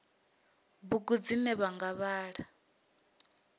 bugu dzine vha nga vhala